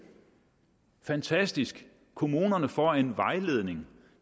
fantastisk kommunerne får en vejledning